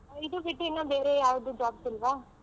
ಇದು ಬಿಟ್ಟು ಇನ್ನು ಬೇರೆ ಯಾವ್ದು jobs ಇಲ್ವಾ.